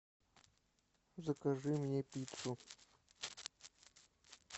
закажи мне пиццу